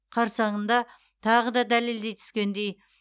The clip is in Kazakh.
қарсаңында тағы да дәлелдей түскендей